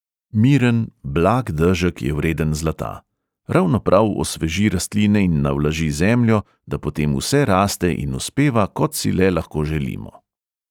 Miren, blag dežek je vreden zlata: ravno prav osveži rastline in navlaži zemljo, da potem vse raste in uspeva, kot si le lahko želimo.